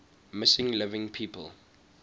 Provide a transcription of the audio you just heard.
missing living people